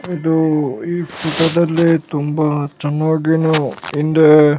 ಇದು ಈ ಚಿತ್ರದಲ್ಲಿ ತುಂಬಾ ಚೆನ್ನಾಗಿ ನಾವು ಹಿಂದೆ --